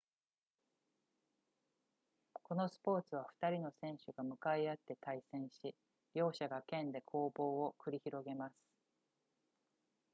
このスポーツは2人の選手が向かい合って対戦し両者が剣で攻防を繰り広げます